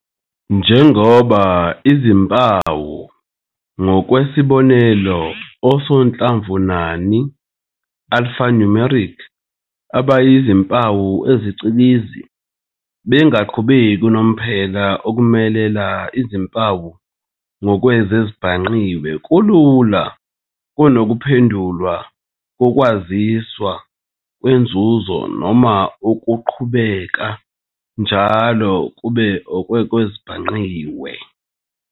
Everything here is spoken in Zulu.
Njengoba izimpawu, ngokwesibonelo, osonhlamvunani "alphanumeric" abayizimpawu ezicikizi, bengaqhubeki unomphela, ukumelela izimpawu ngokwezezibhangqiwe kulula kunokuphendulwa kokwaziswa kwenzuko noma okuqhubeka njalo kube okwezezibhangqiwe.